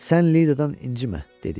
Sən Lidadan incimə, dedi.